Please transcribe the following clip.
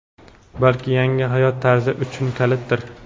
balki yangi hayot tarzi uchun kalitdir!.